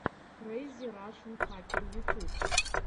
крэйзи рашен хакер ютюб